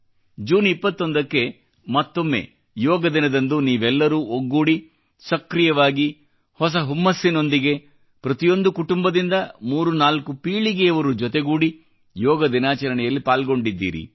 June 21 ಕ್ಕೆ ಮತ್ತೊಮ್ಮೆ ಯೋಗ ದಿನದಂದು ನೀವೆಲ್ಲರೂ ಒಗ್ಗೂಡಿ ಸಕ್ರೀಯವಾಗಿ ಹೊಸ ಹುಮ್ಮಸ್ಸಿನೊಂದಿಗೆ ಪ್ರತಿಯೊಂದು ಕುಟುಂಬದಿಂದ ಮೂರು ನಾಲ್ಕು ಪೀಳಿಗೆಯವರು ಜೊತೆಗೂಡಿ ಯೋಗದಿನಾಚರಣೆಯಲ್ಲಿ ಪಾಲ್ಗೊಂಡಿದ್ದೀರಿ